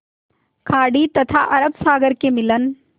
खाड़ी तथा अरब सागर के मिलन